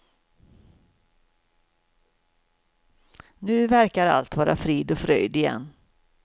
Nu verkar allt vara frid och fröjd igen.